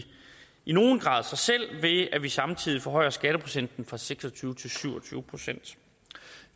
i nogen grad sig selv ved at vi samtidig forhøjer skatteprocenten fra seks og tyve til syv og tyve procent